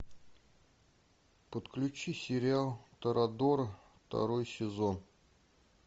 подключи сериал торадора второй сезон